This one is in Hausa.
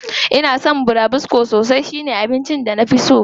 Ina son burabusko sosai, shi ne abincin da na fi so.